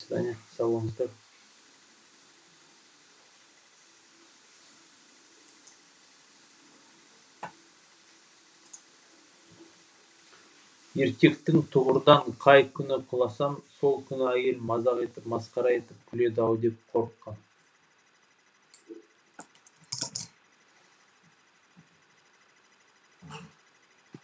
еркектік тұғырдан қай күні құласам сол күні әйелім мазақ етіп масқара етіп күледі ау деп қорыққан